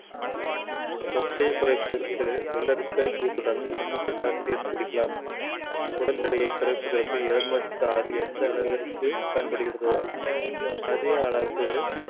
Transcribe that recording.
தொப்பையை குறைப்பதற்கு வெள்ளரிக்காய் juice உடன் எலுமிச்சை சாறு சேர்த்து குடிக்கலாம் உடல் எடையை குறைப்பதற்கு எலுமிச்சை சாறு எந்த அளவிற்கு பயன்படுகிறதோ அதே அளவுக்கு